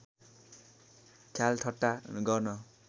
ख्यालठट्टा गर्न